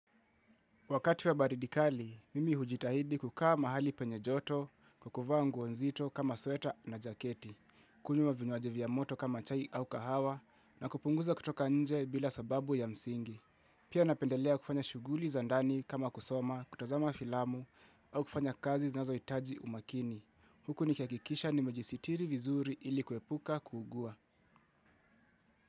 Wakati wa baridi kali, mimi hujitahidi kukaa mahali penye joto, kukuvaa nguo nzito kama sweta na jaketi, kunywa vinywaji vya moto kama chai au kahawa, na kupunguza kutoka nje bila sababu ya msingi. Pia napendelea kufanya shuguli za ndani kama kusoma, kutazama filamu, au kufanya kazi zinazo hitaji umakini. Huku nikihakikisha nimejisitiri vizuri ili kepuka kuepuka kugua.